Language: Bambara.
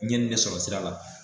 N ye in ne sɔrɔ sira la